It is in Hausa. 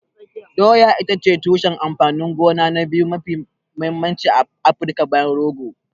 Doya ita ce tushen amfanin gona na biyu mafi mahimmanci a Afirka bayan rogo.